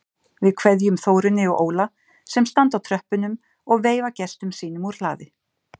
Við kveðjum Þórunni og Óla sem standa á tröppunum og veifa gestum sínum úr hlaði.